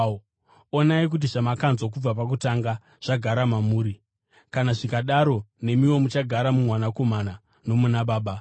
Onai kuti zvamakanzwa kubva pakutanga zvagara mamuri. Kana zvikadaro, nemiwo muchagara muMwanakomana nomuna Baba.